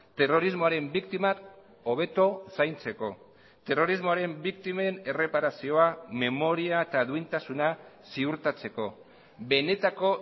terrorismoaren biktimak hobeto zaintzeko terrorismoaren biktimen erreparazioa memoria eta duintasuna ziurtatzeko benetako